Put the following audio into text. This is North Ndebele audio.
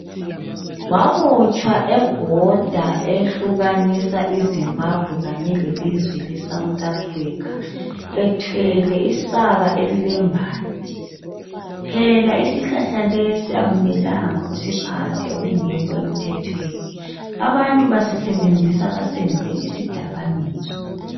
Wabotshwa ebhoda ehlukanisa izimbabwe kanye lelizwe lesouth Africa ethwele isaka elilembanje phela isihlahla lesi akumelanga usiphathe okungekho emthemthweni abantu basisebenzisa basenze isidakamizwa.